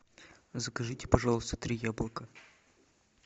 закажите пожалуйста три яблока